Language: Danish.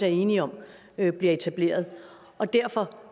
er enige om bliver etableret derfor